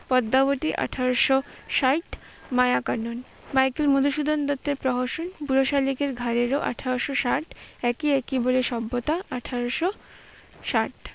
পদ্মাবতী আঠারোশ ষাট, মায়াকানন মাইকেল মধুসূদন দত্তের প্রহসন বুড়ো শালিকের ঘাড়ে রোঁ আঠারোশ ষাট, একেই কি বলে সভ্যতা আঠারোশ ষাট,